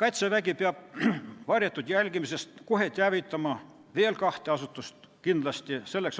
Kaitsevägi peab varjatud jälgimisest kohe teavitama kindlasti veel kahte asutust: